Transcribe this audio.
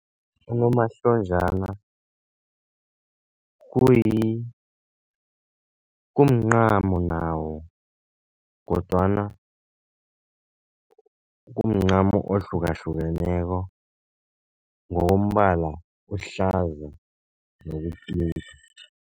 Unomahlonjana kumncamo nawo kodwana kumncamo ohlukahlukeneko, ngokombala uhlaza nokupinki.